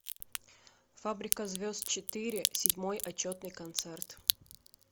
фабрика звезд четыре седьмой отчетный концерт